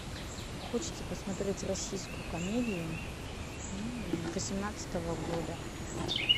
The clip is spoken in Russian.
хочется посмотреть российскую комедию восемнадцатого года